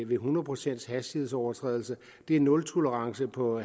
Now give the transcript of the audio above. ved hundrede procent hastighedsoverskridelse det er nultolerance på